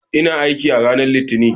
Ina aiki a ranar Litinin.